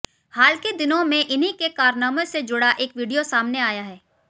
हाल के दिनों में इन्हीं के कारनामों से जुड़ा एक वीडियो सामने आया है